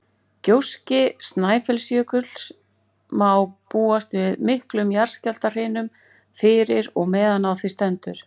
Gjósi Snæfellsjökull má búast við miklum jarðskjálftahrinum fyrir og á meðan á því stendur.